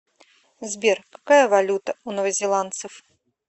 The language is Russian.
сбер какая валюта у новозеландцев